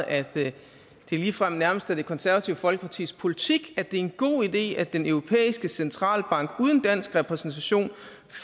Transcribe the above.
at det ligefrem nærmest er det konservative folkepartis politik at det er en god idé at den europæiske centralbank uden dansk repræsentation